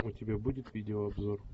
у тебя будет видеообзор